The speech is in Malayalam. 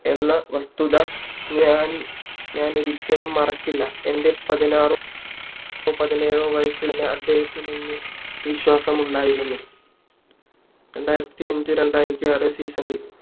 എന്ന വസ്തുത ഞാനൊരിക്കലും മറക്കില്ല എൻ്റെ പതിനാറോ പതിനേഴോ വയസ്സിൽ തന്നെ അദ്ദേഹത്തിന് എന്നിൽ വിശ്വാസം ഉണ്ടായിരുന്നു രണ്ടായിരത്തിഅഞ രണ്ടായിരത്തി ആറ് season ഇൽ